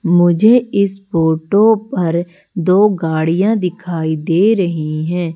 मुझे इस फोटो पर दो गाड़ियां दिखाई दे रही हैं।